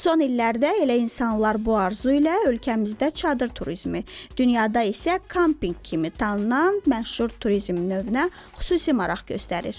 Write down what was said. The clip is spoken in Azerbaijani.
Son illərdə elə insanlar bu arzu ilə ölkəmizdə çadır turizmi, dünyada isə kampinq kimi tanınan məşhur turizm növünə xüsusi maraq göstərir.